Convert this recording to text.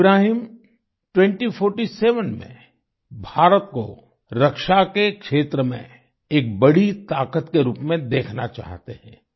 इब्राहिम 2047 में भारत को रक्षा के क्षेत्र में एक बड़ी ताकत के रूप में देखना चाहते हैं